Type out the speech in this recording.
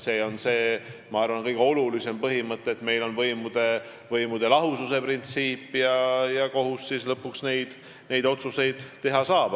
See on see, ma arvan, kõige olulisem põhimõte, et meil on võimude lahususe printsiip ja kohus siis lõpuks neid otsuseid teha saab.